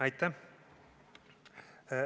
Aitäh!